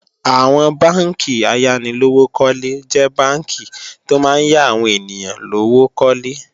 Àwọn bánkì ayánilówókọ́lé jẹ́ bánkì tó máa ń yá àwọn ènìyàn lówó kólé